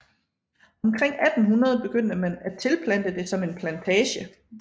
Omkring 1800 begyndte man at tilplante det som en plantage